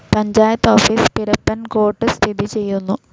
Panchayat office Pirappancode സ്ഥിതി ചെയ്യുന്നു.